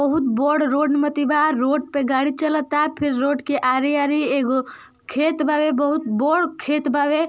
बहुत बर रोड मतिबा रोड पे गाड़ी चलता फिर रोड के आरी आरी एगो खेत बा बहुत बर खेत बावे --